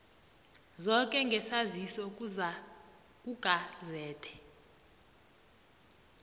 zoke ngesaziso kugazethe